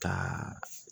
Ka